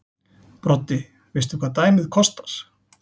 Broddi: Veistu hvað dæmið kostar?